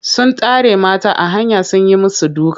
Sun tare mata a hanya sun yi musu duka.